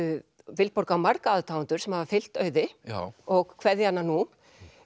Vilborg á marga aðdáendur sem hafa fylgt Auði og kveðja hana nú